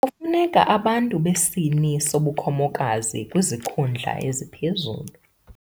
Kufuneka abantu besini sobukhomokazi kwizikhundla eziphezulu.